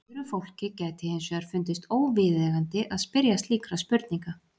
öðru fólki gæti hins vegar fundist óviðeigandi að spyrja slíkra spurninga